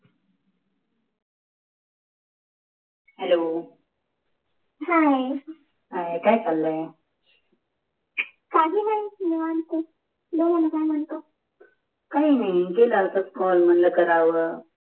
hello hi काय चाललय् काही नाही निवांत बोल ना काय मानतो काही नाही केल असच कॉल मणल कराव